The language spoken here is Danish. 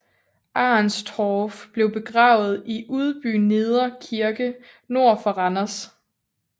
Arenstorff blev begravet i Udbyneder Kirke nord for Randers